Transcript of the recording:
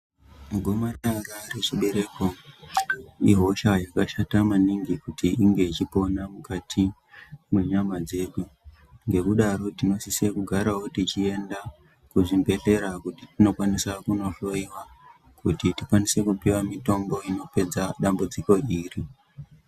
Gomarara rechibereko ihosha yakashata maningi kuti inge ichikona mukati menyama dzedu ngekudaro tinosise kugarawo tichienda kuzvibhedhlera kuti tinokwanisa kuno kuhloiwa kuti tikwanisa kupiwa mitombo inopedza dambudziko iri.